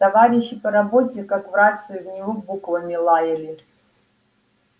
товарищи по работе как в рацию в него буквами лаяли